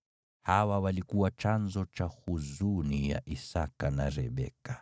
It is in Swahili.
Hawa walikuwa chanzo cha huzuni ya Isaki na Rebeka.